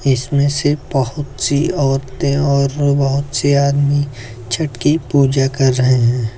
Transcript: इसमें से बहुत सी औरतें और बहुत से आदमी छठ की पूजा कर रहे हैं।